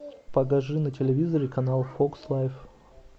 покажи на телевизоре канал фокс лайф